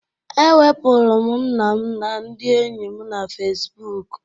Ewepuru m nna m na ndị enyi m na Fesibuuku.